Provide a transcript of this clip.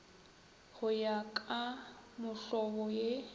go ya ka mohlobo ye